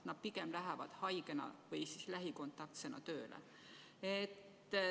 Nad pigem lähevad haigena või siis lähikontaktsena tööle.